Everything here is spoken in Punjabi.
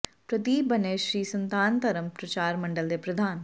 ਪ੍ਰਦੀਪ ਬਣੇ ਸ੍ਰੀ ਸਨਾਤਨ ਧਰਮ ਪ੍ਰਚਾਰ ਮੰਡਲ ਦੇ ਪ੍ਰਧਾਨ